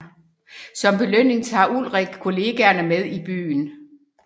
Som belønning tager Ulrich kollegaerne med i byen